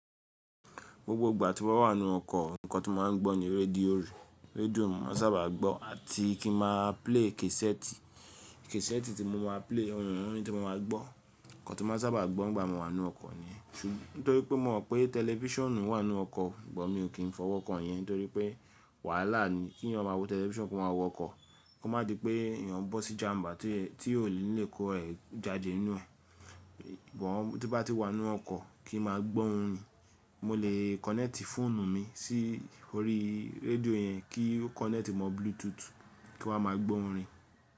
Gbogbo ìgbà tí mo bá wà nínú ọkọ̀ nǹkan tí mo máa ń gbọ́ ni radio rí. Radio ni mo sábà máa ń gbọ́ àti kí máa play casette cassette tí mo ma play, orin ni mo máa gbọ́. Nǹkan tí mo sábà máa ń gbọ́ nígbà mo wà nínú ọkọ̀ ni. Nítorí pé mò ń mọ̀ pé television wà nínú ọkọ̀, but mi ò kí n fọwọ́ kàn yẹn nítorí pé wàhálà ni kí èyàn máa wo television kó máa wọ ọkọ̀. Kó má di pé èèyàn bọ́ sí ìjàmbá tí é tí ò ní lè kó ẹ̀ jáde nínú ẹ̀. But tí bá ti wà nínú ọkọ̀ kí máa gbọ́ orin. Mo lè connect phone mi sí orí radio yẹn kí ó connect mọ́ Bluetooth kí wọ́n máa gbọ́ orin.